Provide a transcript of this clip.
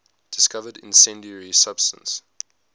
discovered incendiary substance